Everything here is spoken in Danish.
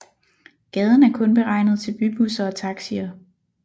Gaden er kun beregnet til bybusser og taxier